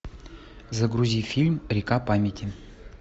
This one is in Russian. загрузи фильм река памяти